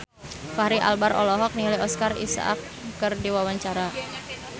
Fachri Albar olohok ningali Oscar Isaac keur diwawancara